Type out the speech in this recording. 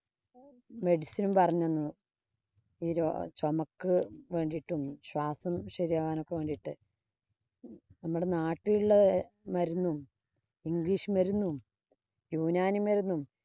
medicin e ഉം പറഞ്ഞു തന്നു. ചൊമക്ക് വേണ്ടീട്ടും, ശ്വാസം ശരിയാവാനും വേണ്ടീട്ട് നമ്മുടെ നാട്ടിലുള്ള മരുന്നും, english മരുന്നും, യുനാനി മരുന്നും